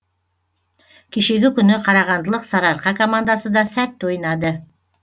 кешегі күні қарағандылық сарыарқа командасы да сәтті ойнады